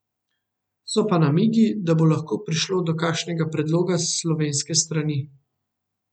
So pa namigi, da bo lahko prišlo do takšnega predloga s slovenske strani.